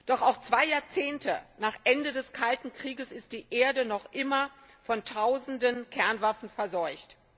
Doch auch zwei Jahrzehnte nach Ende des Kalten Kriegs ist die Erde noch immer von Tausenden Kernwaffen verseucht.